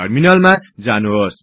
टर्मिनालमा जानुहोस्